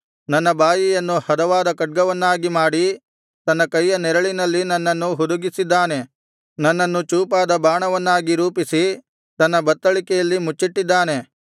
ನನ್ನ ಬಾಯಿಯನ್ನು ಹದವಾದ ಖಡ್ಗವನ್ನಾಗಿ ಮಾಡಿ ತನ್ನ ಕೈಯ ನೆರಳಿನಲ್ಲಿ ನನ್ನನ್ನು ಹುದುಗಿಸಿದ್ದಾನೆ ನನ್ನನ್ನು ಚೂಪಾದ ಬಾಣವನ್ನಾಗಿ ರೂಪಿಸಿ ತನ್ನ ಬತ್ತಳಿಕೆಯಲ್ಲಿ ಮುಚ್ಚಿಟ್ಟಿದ್ದಾನೆ